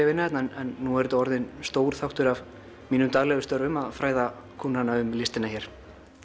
að vinna hérna en nú er þetta orðinn stór þáttur af mínum daglegu störfum að fræða kúnnana um listina hér